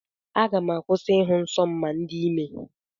Aga m akwụsị ịhụ nsọ m ma m dị ime.